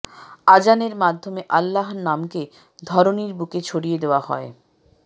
আজানের মাধ্যমে আল্লাহর নামকে ধরণীর বুকে ছড়িয়ে দেওয়া হয়